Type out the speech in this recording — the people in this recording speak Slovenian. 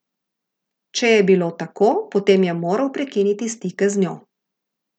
Če je bilo tako, potem je moral prekiniti stike z njo.